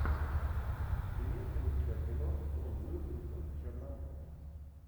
имеется ли у тебя кино том уилкинсон черномор